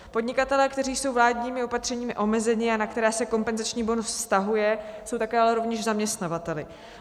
Podnikatelé, kteří jsou vládními opatřeními omezeni a na které se kompenzační bonus vztahuje, jsou také ale rovněž zaměstnavateli.